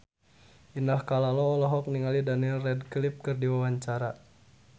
Indah Kalalo olohok ningali Daniel Radcliffe keur diwawancara